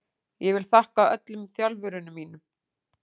Ég vil þakka öllum þjálfurunum mínum.